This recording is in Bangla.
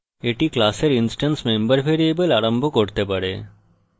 এটি class instance member ভ্যারিয়েবল আরম্ভ করতে পারে